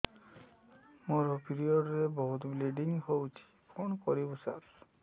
ମୋର ପିରିଅଡ଼ ରେ ବହୁତ ବ୍ଲିଡ଼ିଙ୍ଗ ହଉଚି କଣ କରିବୁ ସାର